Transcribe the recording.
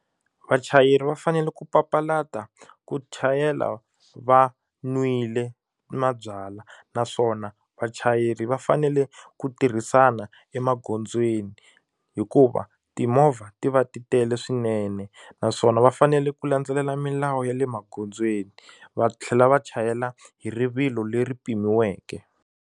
Vachayeri va fanele ku papalata ku chayela va nwile mabyalwa naswona vachayeri va fanele ku tirhisana emagondzweni hikuva timovha ti va ti tele swinene naswona va fanele ku landzelela milawu ya le magondzweni va tlhela va chayela hi rivilo leri pimiweke.